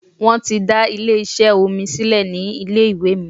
Wọ́n ti dá ilé iṣẹ́ omi sílẹ̀ ní ilé ìwé mi.